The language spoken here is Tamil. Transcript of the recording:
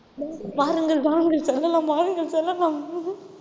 வாருங்கள் வாருங்கள் செல்லாம் வாருங்கள் செல்லாம்